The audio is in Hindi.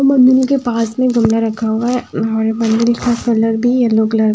मंदिल के पास मे गमला रखा हुआ है और मंदिल का कलर भी येलो कलर --